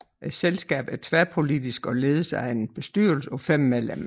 Selskabet er tværpolitisk og ledes af en bestyrelse på 5 medlemmer